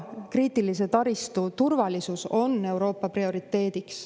Kriitilise tähtsusega taristu turvalisus on Euroopas prioriteet.